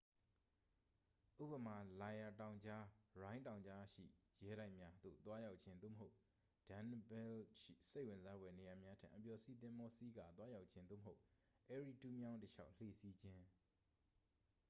ဥပမာ လိုင်ရာ တောင်ကြား ရိုင်း တောင်ကြားရှိရဲတိုက်များသို့သွားရောက်ခြင်း သို့မဟုတ် danube ရှိ စိတ်ဝင်စားဖွယ်နေရာများထံ အပျော်စီးသင်္ဘောစီးကာသွားရောက်ခြင်း သို့မဟုတ် erie တူးမြောင်းတစ်လျှောက် လှေစီးခြင်း